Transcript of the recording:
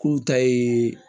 K'u ta ye